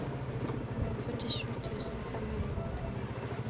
førtisju tusen fem hundre og åttini